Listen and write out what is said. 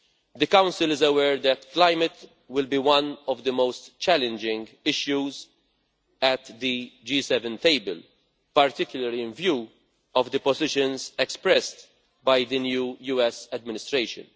The Council is aware that climate will be one of the most challenging issues at the G7 table, particularly in view of the positions expressed by the new US administration.